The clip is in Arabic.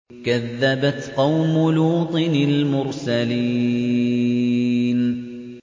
كَذَّبَتْ قَوْمُ لُوطٍ الْمُرْسَلِينَ